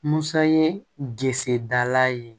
Musa ye disi dala ye